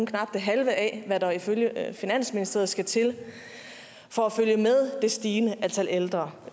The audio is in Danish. knap det halve af hvad der ifølge finansministeriet skal til for at følge med det stigende antal ældre